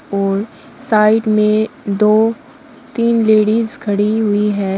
और साइड में दो तीन लेडिस खड़ी हुई है।